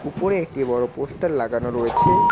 উপরে একটি বড় পোস্টার লাগানো রয়েছে।